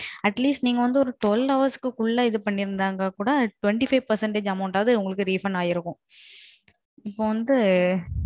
Atleast நீங்க வந்து ஒரு பண்ணெண்டு மணிநேரத்துக்ககுள்ள பண்ணிருந்தால் கூட இருபத்தி அஞ்சு சதவீதம் Refund ஆகிடும்.